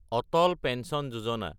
Atal pension Yojana